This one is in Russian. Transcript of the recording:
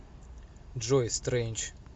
джой стрэндж